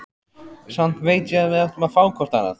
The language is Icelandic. Samt veit ég að við áttum að fá hvort annað.